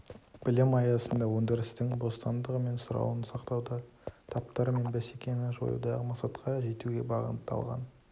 білім аясында өндірістің бостандығы мен сұрауын сақтауда таптар мен бәсекені жоюдағы мақсатқа жетуге бағытталған